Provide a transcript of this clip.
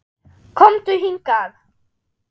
KOMDU HINGAÐ!